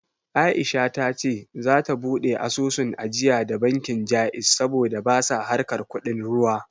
Aisha ta ce za ta buɗe asusun ajiya da bankin Ja'iz saboda basa harkar kuɗin ruwa